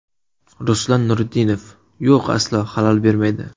Ruslan Nuriddinov: Yo‘q, aslo xalal bermaydi.